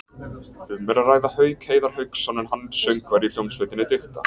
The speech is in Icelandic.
Um er að ræða Hauk Heiðar Hauksson en hann er söngvari í hljómsveitinni Dikta.